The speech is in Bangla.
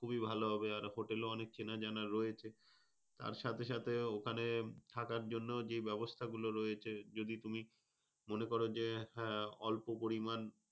খুবই ভালো হবে। আর hotel ও অনেক চেনা যানা রয়েছে। আর সাথে সাথে ওখানে থাকার জন্য যে ব্যবস্থাগুলো রয়েছে, যদি তুমি মনে করো হ্যাঁ অল্প পরিমাণ